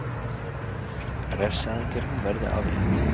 Refsiaðgerðum verði aflétt